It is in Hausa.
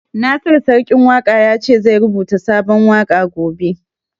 Nasiru Sarkin Waƙa ya ce zai rubuta sabon waƙa gobe